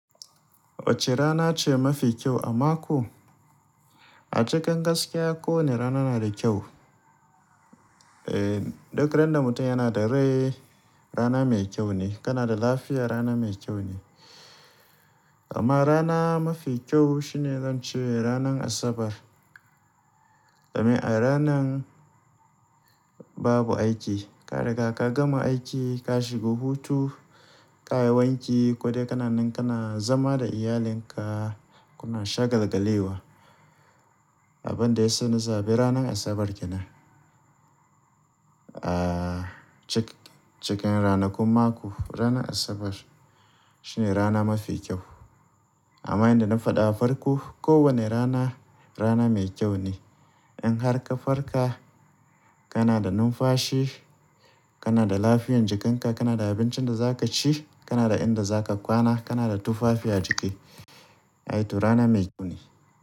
Wace rana ce mafi kyau a mako? A cikin gaskiya ko wane rana na da kyau. Eh, duk ran da mutum yana da rai, rana mai kyau ne kana da lafiya, rana mai kyau ne. Amma rana mafi kyau shine zan ce rana asabar. Domin a ranan babu aiki, kariga ka gama aiki ka shigo hutu, ƙayi wanki ko dai kana nan kana zama da iyalinka kuna shagalgale wa. Abin da ya sa ni zaɓi ranar asabar kenan, ah cikin ranakun mako, ranar asabar shine rana mafi kyau. Amma inda na faɗa farko, kowane rana rana mai kyau ne. In har ka farka kana da numfashi, kana da lafiyan jikanka, kana da abincin da za ka ci, kana da inda za ka kwana, kana da tufafi a jiki, i to rana mai kyau ne.